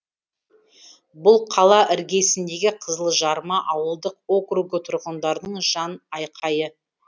бұл қала іргесіндегі қызылжарма ауылдық округі тұрғындарының жан айқайы